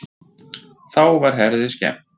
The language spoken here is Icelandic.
Þá var Herði skemmt.